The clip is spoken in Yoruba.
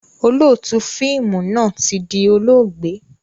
Olóótù fíìmù náà tí di olóògbé